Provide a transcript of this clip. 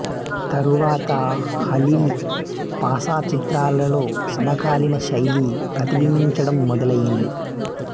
తరువాత Halil Pasha చిత్రాలలో సమకాలీన శైలి ప్రతిబింబించడం మొదలైంది